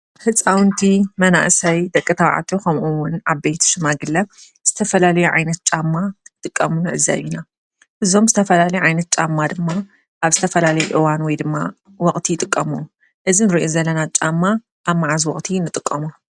ህፃውንቲ መናእሰይ ደቂ ተባዕትዮ ከምኡውን ዓበይቲ ሽማግለ ዝተፈላለዩ ዓይነት ጫማ ክጥቀሙ ንዕዘብ እና፡፡ እዞም ዝተላለዩ ዓይነት ጫማ ድማ ኣብ ዝተፈላለዩ እዋን ወይድማ ወቕቲ ይጥቀሙሉ፡፡ እዚ ንሪኦ ዘለና ጫማ ኣብ ማዓዝ ወቕቲ ንጥቀመሉ?